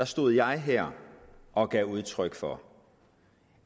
stod jeg her og gav udtryk for